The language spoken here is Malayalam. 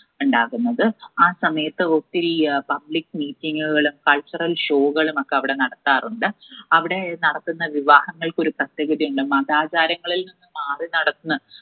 ഇണ്ടാകുന്നത് ആ സമയത്ത് ഒത്തിരി ഏർ public meeting കള് cultural show കളുമൊക്കെ അവിടെ നടത്താറുണ്ട്. അവിടെ നടത്തുന്ന വിവാഹങ്ങൾക്കൊരു പ്രത്യേകത ഇണ്ട് മതാചാരങ്ങളിൽ നിന്ന് മാറിനടന്ന്‌